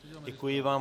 Děkuji vám.